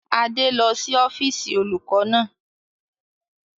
Adé lọ sí ọ́fíìsì olùkọ́ náà